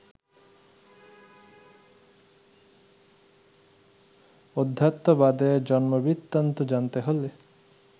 অধ্যাত্মবাদের জন্মবৃত্তান্ত জানতে হলে